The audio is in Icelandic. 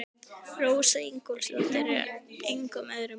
Rósa Ingólfsdóttir er engum öðrum lík.